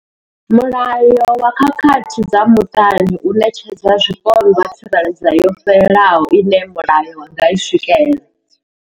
Mulayo wa khakhathi dza muṱani u ṋetshedza zwipondwa tsireledzo yo fhelelaho ine mulayo wa nga i swikela.